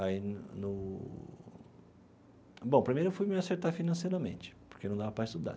Aí, no no... Bom, primeiro eu fui me acertar financeiramente, porque não dava para estudar.